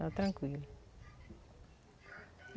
Dá tranquilo.